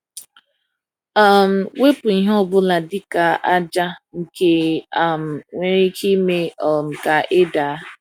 um Wepu ihe ọ bụla, dịka aja, nke um nwere ike ime um ka ị daa.